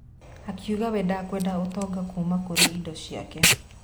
Akiuga we ndekwenda ũtonga kuuma kũrĩ indo ciake.